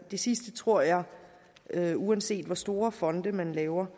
det sidste tror jeg at uanset hvor store fonde man laver